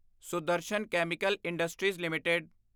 Sudarshan chemical industries LTD